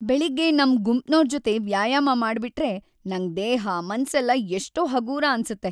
ಬೆಳಿಗ್ಗೆ ನಮ್ ಗುಂಪ್ನೋರ್ ಜೊತೆ ವ್ಯಾಯಾಮ ಮಾಡ್ಬಿಟ್ರೆ ನಂಗ್ ದೇಹ ಮನ್ಸೆಲ್ಲ ಎಷ್ಟೋ ಹಗೂರ ಅನ್ಸತ್ತೆ.